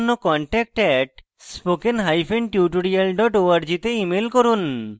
বিস্তারিত তথ্যের জন্য contact @spokentutorial org তে ইমেল করুন